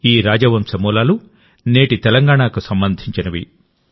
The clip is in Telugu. ఈ రాజవంశ మూలాలు నేటి తెలంగాణకు సంబంధించినవి